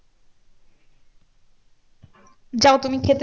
যাও তুমি খেতে।